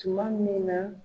Tuma min na